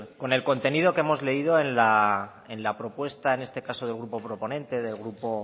con el contenido que hemos leído en la propuesta en este caso del grupo proponente del grupo